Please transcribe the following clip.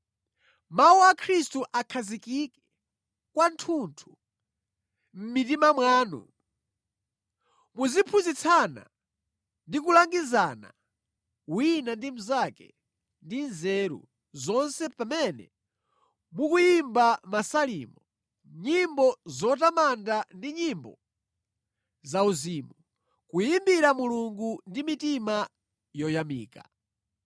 Mawu a Khristu akhazikike kwathunthu mʼmitima mwanu. Muziphunzitsana ndi kulangizana wina ndi mnzake ndi nzeru zonse pamene mukuyimba Masalimo, nyimbo zotamanda ndi nyimbo zauzimu, kuyimbira Mulungu ndi mitima yoyamika.